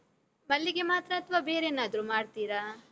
ಮಲ್ಲಿಗೆ ಮಾತ್ರ ಅಥ್ವಾ ಬೇರೇನಾದ್ರೂ ಮಾಡ್ತೀರ?